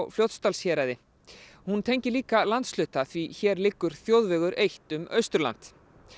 Fljótsdalshéraðs hún tengir líka landshluta því hér liggur þjóðvegur eitt um Austurland